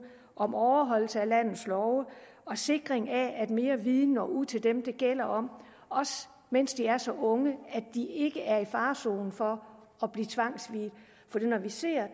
om overholdelse af landets love og sikring af at mere viden når ud til dem det handler om også mens de er så unge at de ikke er i fare for at blive tvangsviet for når vi ser